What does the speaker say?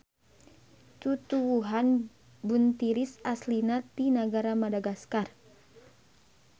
Tutuwuhan buntiris aslina ti nagara Madagaskar.